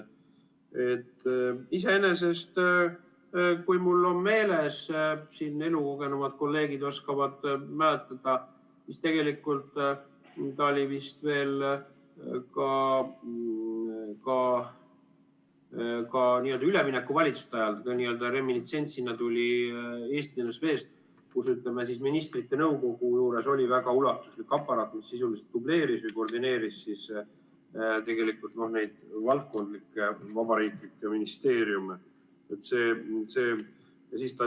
Iseenesest, kui mul on meeles, siin elukogenumad kolleegid mäletavad, siis tegelikult ta oli vist veel ka n‑ö üleminekuvalitsuste ajal, ta tuli n‑ö reministsentsina Eesti NSV-st, kus ministrite nõukogu juures oli väga ulatuslik aparaat, mis sisuliselt dubleeris või koordineeris neid valdkondlikke vabariiklikke ministeeriume.